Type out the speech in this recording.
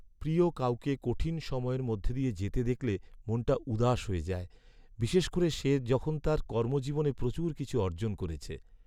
প্রিয় কাউকে কঠিন সময়ের মধ্য দিয়ে যেতে দেখলে মনটা উদাস হয়ে যায়, বিশেষ করে সে যখন তার কর্মজীবনে প্রচুর কিছু অর্জন করেছে।